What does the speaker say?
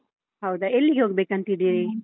ಹೌದಾ ಎಲ್ಲಿಗೆ ಹೋಗ್ಬೇಕಂತಿದ್ದೀರಿ?